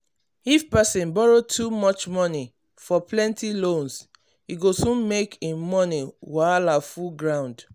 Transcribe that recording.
if person borrow too much money for plenty loans e go soon make im money wahala full ground.